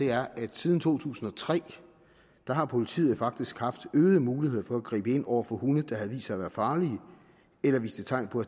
er at siden to tusind og tre har politiet faktisk haft øget mulighed for at gribe ind over for hunde der havde vist sig at være farlige eller viste tegn på